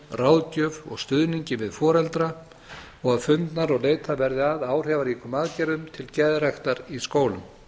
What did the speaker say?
ráðgjöf og stuðningi við foreldra og að fundnar og leitað verði að áhrifaríkum aðgerðum til geðræktar í skólum